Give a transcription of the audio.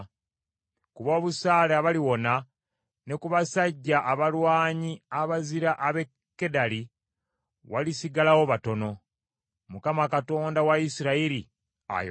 Ku b’obusaale abaliwona, ne ku basajja abalwanyi abazira ab’e Kedali, walisigalawo batono.” Mukama Katonda wa Isirayiri ayogedde.